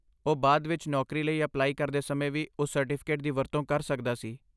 ਉਹ ਬਾਅਦ ਵਿੱਚ ਨੌਕਰੀ ਲਈ ਅਪਲਾਈ ਕਰਦੇ ਸਮੇਂ ਵੀ ਉਸ ਸਰਟੀਫਿਕੇਟ ਦੀ ਵਰਤੋਂ ਕਰ ਸਕਦਾ ਸੀ।